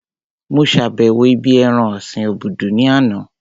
Mo sàbẹ̀wo ibí ẹran ọ̀sin obudu ní àná